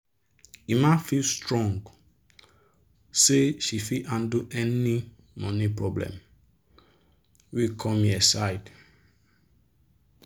emma feel strong say she fit handle any money problem wey come here side.